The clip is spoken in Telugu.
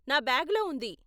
నా బ్యాగులో ఉంది.